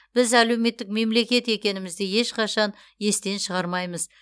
біз әлеуметтік мемлекет екенімізді ешқашан естен шығармаймыз